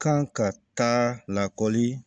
Kan ka taa lakɔli